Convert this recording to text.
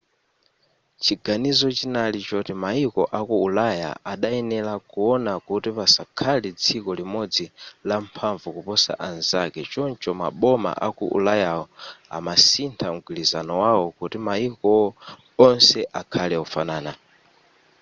chiganizo chinali choti mayiko aku ulaya adayenera kuona kuti pasakhale dziko limodzi lamphamvu kuposa anzake choncho maboma aku ulayawo amasintha mgwirizano wawo kuti mayiko onse akhale ofanana